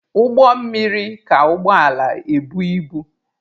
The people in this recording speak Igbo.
Ụgbọ mmiri ka ụgbọ ala ebu ibu.